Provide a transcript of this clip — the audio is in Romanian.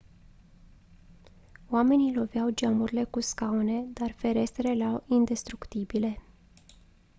oamenii loveau geamurile cu scaune dar ferestrele erau indestructibile